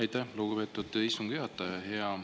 Aitäh, lugupeetud istungi juhataja!